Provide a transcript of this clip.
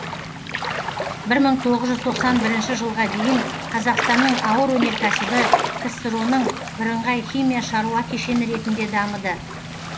бір мың тоғыз жүз тоқсан бірінші жылға дейін қазақстанның ауыр өнеркәсібі ксро ның бірыңғай химия шаруа кешені ретінде дамыды